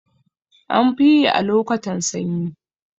Anfiyi a lokotan sanyi